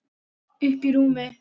Uppí rúmi.